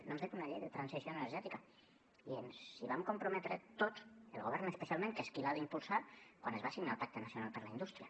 no hem fet una llei de transició energètica i ens hi vam comprometre tots el govern especialment que és qui l’ha d’impulsar quan es va signar el pacte nacional per a la indústria